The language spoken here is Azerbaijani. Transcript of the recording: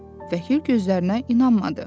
Vəkil gözlərinə inanmadı.